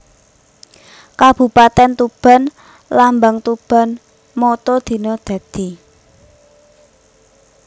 Kabupatèn TubanLambang TubanMotto Dina Dadi